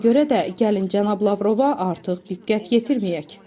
Ona görə də gəlin cənab Lavrova artıq diqqət yetirməyək,